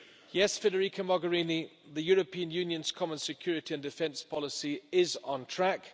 Yes, Federica Mogherini, the European Union's Common Security and Defence Policy is on track.